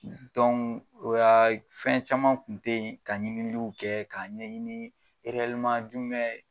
o ya fɛn caman tun te ye ka ɲiniliw kɛ k'a ɲɛɲini jumɛn